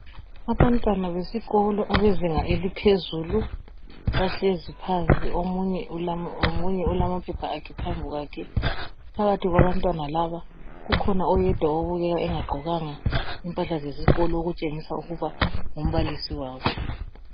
Abantwana besikolo abezinga eliphezulu bahlezi phansi omunye ulamaphepha akhe phambi kwakhe phakathi kwabantwana laba kukhona oyedwa obukeka engagqokanga impahla zezikolo okutshengisa ukuba ngumbalisi wabo.